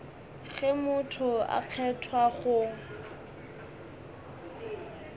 ge motho a kgethwa go